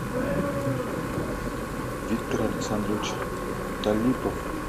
виктор александрович талипов